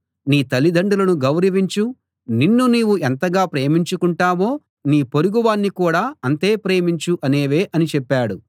నీ తల్లిదండ్రులను గౌరవించు నిన్ను నీవు ఎంతగా ప్రేమించుకుంటావో నీ పొరుగువాణ్ణి కూడా అంతే ప్రేమించు అనేవే అని చెప్పాడు